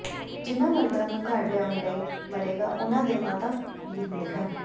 ਜਿਨ੍ਹਾਂ ਮਰਦਾਂ ਨੂੰ ਘਰ ਲਿਆਉਣ ਲਈ ਮਰੇਗਾ ਉਨ੍ਹਾਂ ਦੇ ਮਾਤਾ ਵੀ ਹੁੰਦੇ ਹਨ